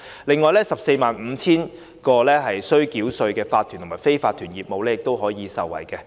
此外 ，145,000 個須繳稅的法團及非法團業務亦可受惠。